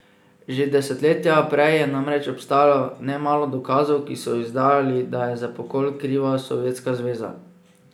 Že desetletja prej je namreč obstajalo nemalo dokazov, ki so izdajali, da je za pokol kriva Sovjetska zveza.